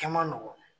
Kɛ man nɔgɔ